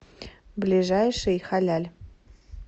ближайший халяль